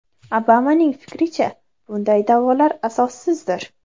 Obamaning fikricha, bunday da’volar asossizdir.